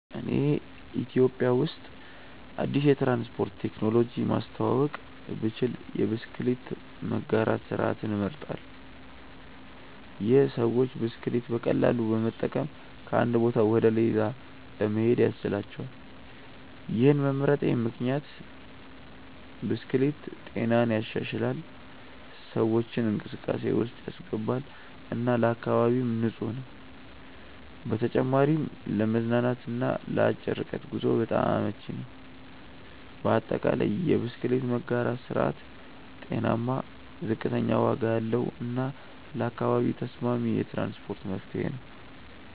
እኔ ኢትዮጵያ ውስጥ አዲስ የትራንስፖርት ቴክኖሎጂ ማስተዋወቅ ብችል የብስክሌት መጋራት ስርዓትን እመርጣለሁ። ይህ ሰዎች ብስክሌት በቀላሉ በመጠቀም ከአንድ ቦታ ወደ ሌላ ለመሄድ ያስችላቸዋል። ይህን መምረጤ ምክንያት ብስክሌት ጤናን ይሻሻላል፣ ሰዎችን እንቅስቃሴ ውስጥ ያስገባል እና ለአካባቢም ንፁህ ነው። በተጨማሪም ለመዝናናት እና ለአጭር ርቀት ጉዞ በጣም አመቺ ነው። በአጠቃላይ፣ የብስክሌት መጋራት ስርዓት ጤናማ፣ ዝቅተኛ ዋጋ ያለው እና ለአካባቢ ተስማሚ የትራንስፖርት መፍትሄ ነው።